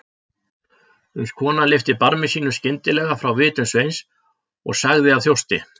Uns konan lyfti barmi sínum skyndilega frá vitum Sveins og sagði af þjósti